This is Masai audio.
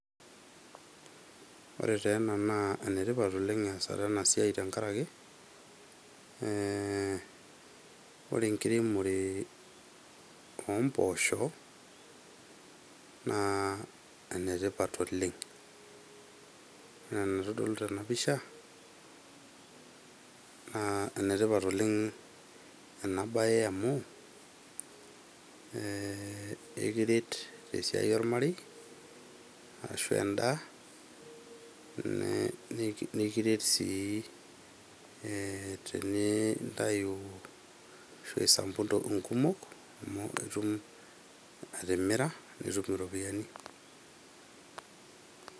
Ore taa ena naa ene tipat easata ena siai tenkaraki , ee ore enkiremore oomposho naa ene tipat oleng . Ore enaitodolu tena pisha naa ekiret ee tesiai ormarei ashu endaa , nikiret sii ee tenisampuk nkumok amu itum atimira nitum iropiyiani.